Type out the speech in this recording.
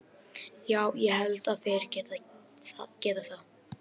Já ég held að þeir geti það.